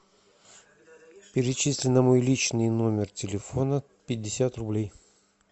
перечисли на мой личный номер телефона пятьдесят рублей